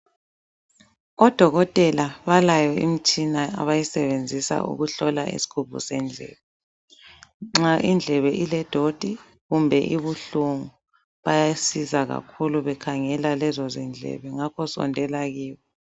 Odokotela balayo imitshina abayisebenzisa ukuhlola isigubhu sendlebe. Nxa indlebe iledoti kumbe ibuhlungu bayasiza kakhulu bekhangela lezo zindlebe ngakho sondela kibo.